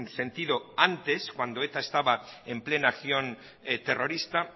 sentido antes cuando eta estaba en plena acción terrorista